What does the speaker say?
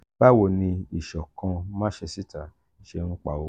bawo ni isokan mansesita ṣe npa owo?